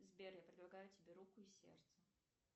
сбер я предлагаю тебе руку и сердце